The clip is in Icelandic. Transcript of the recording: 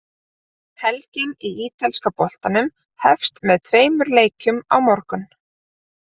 Helgin í ítalska boltanum hefst með tveimur leikjum á morgun.